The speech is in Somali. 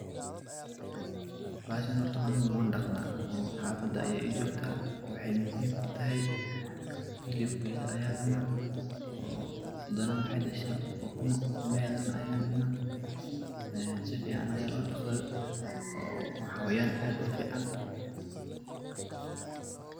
Bahashani horta ani waan daqdaa, oo haafada ayay ii jogtaa. Waxaay muhiim kutahay hilibkeedha ayaan cuna. Oo hadana maxay dhashaa ukumo. Ukumaheedha ayaay cuna ee si ficaan ayaa loo daqdaa. Waa xawayaan aad u fiican.